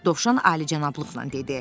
Dovşan Alicənablıqla dedi.